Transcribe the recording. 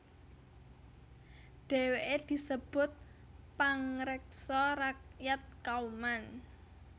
Dheweke disebut pangreksa rakyat Kauman